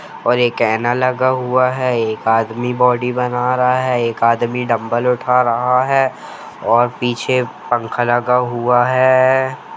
और एक आईना लगा हुआ है और एक आदमी बॉडी बना रहा है एक आदमी डंबल उठा रहा है और पीछे पंखा लगा हुआ है।